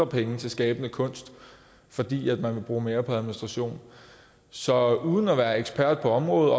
penge til skabende kunst fordi man vil bruge mere på administration så uden at være ekspert på området